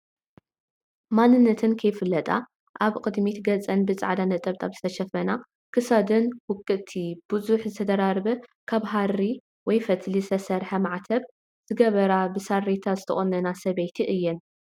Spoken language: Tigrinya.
ማንነተን ካይፍለጣ አብ ቅድሚት ገፅን ብፃዕዳ ነጠበጣብ ዝተሸፈና ክሳደን ውቅጥቲ፣ ብዙሕ ዝተደራረበ ካብ ሃሪ (ፈትሊ) ዝተሰርሐ ማዕተብ ዘገበራን ብሳሬታ ዝተቆነናን ሰበይቲ እየን፡፡